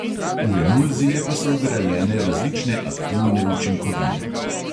V emulzije pa so vgrajene različne aktivne učinkovine.